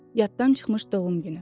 Yaddan çıxmış doğum günü.